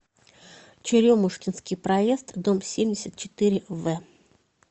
черемушкинский проезд дом семьдесят четыре в